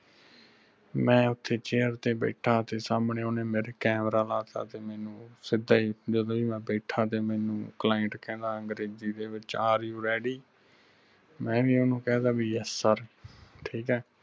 ਮੈਂ ਓਥੈ chair ਤੇ ਬੈਠਾ ਤੇ ਸਾਮਣੇ ਓਹਨੇ ਮੇਰੇ camera ਲਾਤਾ ਤੇ ਮੈਨੂੰ ਉਹ ਸਿੱਧਾ ਈ ਜਦੋ ਈ ਮੈਂ ਬੈਠਾ ਤੇ ਮੈਨੂੰ client ਕਹਿੰਦਾ ਅੰਗਰੇਜ਼ੀ ਦੇ ਵਿਚ are you ready ਮੈਂ ਵੀ ਉਸਨੂੰ ਕਹਿ ਤਾ ਬਈ yes sir ਠੀਕ ਐ